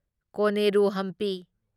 ꯀꯣꯅꯦꯔꯨ Hampi